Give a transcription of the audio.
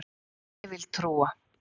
Ég vill trúa